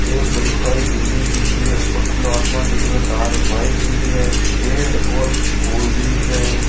ये एक बड़ी सारी बिल्डिंग दिख रही है ऊपर खुलो आसमान दिख रयो है तार वायर दिख रिया है पेड़ और फुल दिख रिया है।